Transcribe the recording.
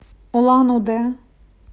улан удэ